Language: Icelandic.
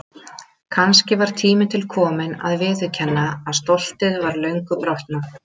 Kannski var tími til kominn að viðurkenna að stoltið var löngu brotnað.